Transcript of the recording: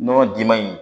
Nɔnɔ diman in